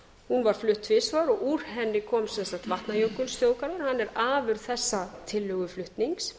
hún var flutt tvisvar og úr henni kom sem sagt vatnajökulsþjóðgarður hann er afurð þessa tillöguflutnings